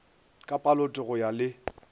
ka palote go ya le